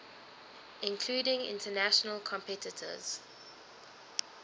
including international competitors